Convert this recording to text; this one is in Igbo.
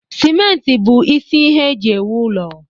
Simenti bụ isi ihe eji ewu ụlọ